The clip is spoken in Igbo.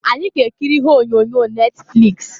Anyị ga-ekiri ihe onyonyo Netfliks.